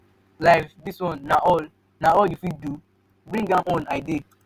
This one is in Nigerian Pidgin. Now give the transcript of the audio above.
life dis one na all na all you fit do? bring am on i dey.